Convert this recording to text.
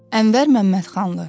Ənvər Məmmədxanlı.